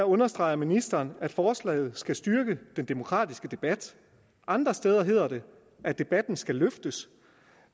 understreger ministeren at forslaget skal styrke den demokratiske debat andre steder hedder det at debatten skal løftes